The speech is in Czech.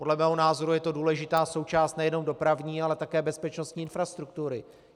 Podle mého názoru je to důležitá součást nejenom dopravní, ale také bezpečnostní infrastruktury.